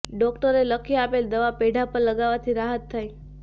ડોક્ટરે લખી આપેલ દવા પેઢાં પર લગાવવાથી રાહત થાય